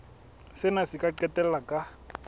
sena se ka qetella ka